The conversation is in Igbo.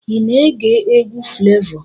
Ị na-ege egwu Flevọ?